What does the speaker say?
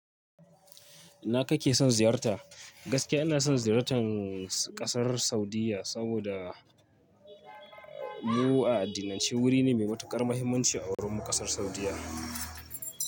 Ina kake son ziyarta? Gaske ina son ziyartan kasar Saudiyya saboda mu a addinin shi wuri ne mai matuƙar mahimmanci a wurin kasar Saudiyya.